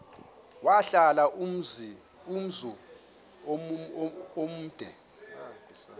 wahlala umzum omde